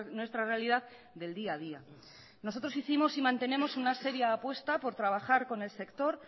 nuestra realidad del día a día nosotros hicimos y mantenemos una serie de apuestas por trabajar con el sector